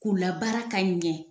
K'u la baara ka ɲɛ